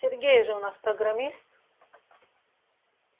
сергей же у нас программист